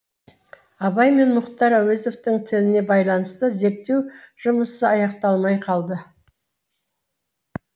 абай мен мұхтар әуезовтің тіліне байланысты зерттеу жұмысы аяқталмай қалды